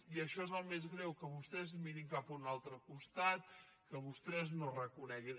i això és el més greu que vostès mirin cap a un altre costat que vostès no ho reconeguin